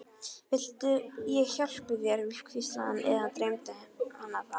Viltu ég hjálpi þér, hvíslaði hann- eða dreymdi hana það?